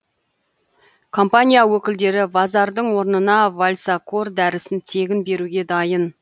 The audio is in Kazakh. компания өкілдері вазардың орнына вальсакор дәрісін тегін беруге дайын